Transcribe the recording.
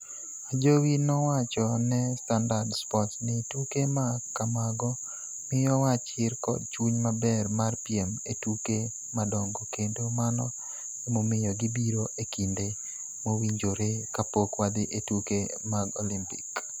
Ajowi nowacho ne Standard Sports ni, "Tuke ma kamago miyowa chir kod chuny maber mar piem e tuke madongo kendo mano emomiyo gibiro e kinde mowinjore kapok wadhi e tuke mag Olimpik".